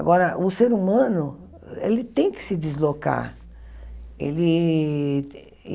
Agora, o ser humano, ele tem que se deslocar. Ele